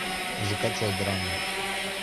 закачай драму